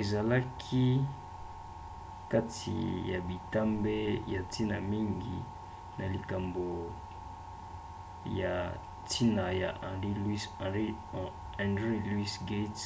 ezalaki kati na bitambe ya ntina mingi na likambo ya ntina ya henry louis gates